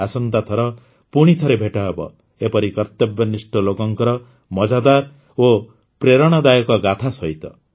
ଆସନ୍ତା ଥର ପୁଣିଥରେ ଭେଟ ହେବ ଏପରି କର୍ତବ୍ୟନିଷ୍ଠ ଲୋକଙ୍କର ମଜାଦାର ଓ ପ୍ରେରଣାଦାୟକ ଗାଥା ସହିତ